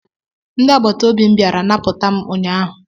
Ndị agbata obi m bịara napụta m ụnyaahụ